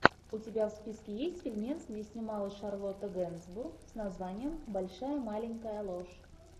у тебя в списке есть фильмец где снималась шарлотта генсбур с названием большая маленькая ложь